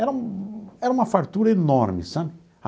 Era era uma fartura enorme, sabe?